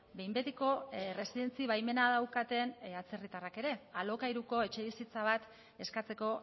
behin betiko erresidentzi baimena daukaten atzerritarrak ere alokairuko etxebizitza bat eskatzeko